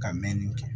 Ka mɛn nin kɛ